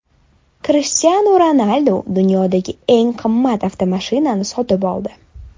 Krishtianu Ronaldu dunyodagi eng qimmat avtomashinani sotib oldi.